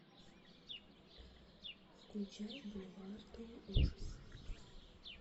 включай бульварные ужасы